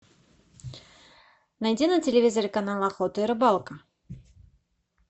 найди на телевизоре канал охота и рыбалка